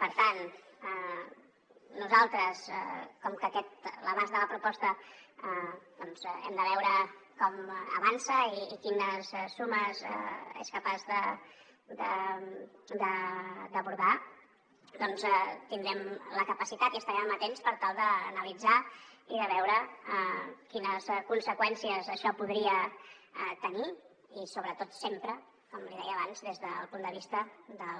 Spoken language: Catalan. per tant nosaltres com que l’abast de la proposta doncs hem de veure com avança i quines sumes és capaç d’abordar tindrem la capacitat i estarem amatents per tal d’analitzar i de veure quines conseqüències això podria tenir i sobretot sempre com li deia abans des del punt de vista de